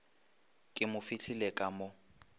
ke mo fihlile ka mo